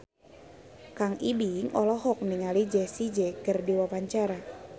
Kang Ibing olohok ningali Jessie J keur diwawancara